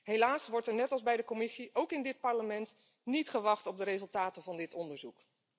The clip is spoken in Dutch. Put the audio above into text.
Helaas wordt er net als bij de Commissie ook in dit Parlement niet gewacht op de resultaten van dit onderzoek.